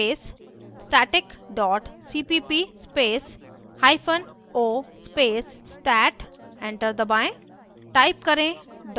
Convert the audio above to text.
g ++ space static dot cpp space hyphen o space stat enter दबाएं